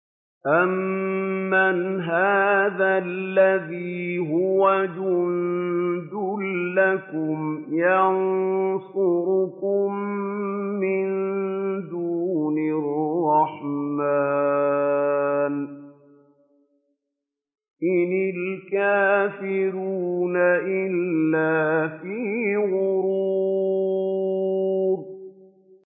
أَمَّنْ هَٰذَا الَّذِي هُوَ جُندٌ لَّكُمْ يَنصُرُكُم مِّن دُونِ الرَّحْمَٰنِ ۚ إِنِ الْكَافِرُونَ إِلَّا فِي غُرُورٍ